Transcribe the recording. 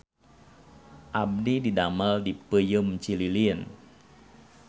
Abdi didamel di Peuyeum Cililin